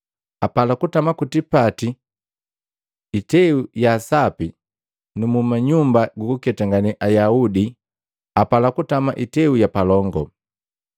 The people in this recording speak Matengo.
Apala kutama ku tipati iteu ya sapi nu munyumba jukuketangane Ayaudi apala kutama iteu ya palongo.